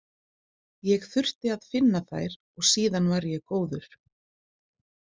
Ég þurfti að finna þær og síðan var ég góður.